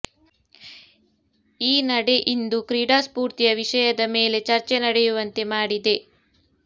ಈ ನಡೆ ಇಂದು ಕ್ರೀಡಾ ಸ್ಫೂರ್ತಿಯ ವಿಷಯದ ಮೇಲೆ ಚರ್ಚೆ ನಡೆಯುವಂತೆ ಮಾಡಿದೆ